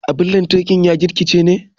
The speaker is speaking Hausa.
Abun lantarki ya gigice ne.